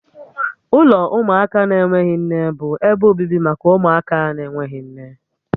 Ụlọ ụmụaka na-enweghị nne bụ ebe obibi maka ụmụaka na-enweghị nne